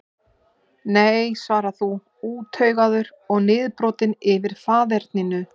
Nei svarar þú, úttaugaður og niðurbrotinn yfir faðerninu.